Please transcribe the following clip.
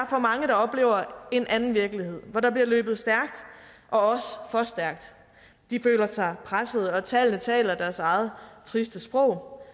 for mange der oplever en anden virkelighed hvor der bliver løbet stærkt og også de føler sig presset og tallene taler deres eget triste sprog